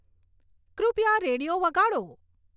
કૃપયા રેડીઓ વગાડો